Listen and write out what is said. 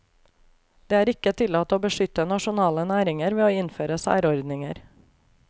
Det er ikke tillatt å beskytte nasjonale næringer ved å innføre særordninger.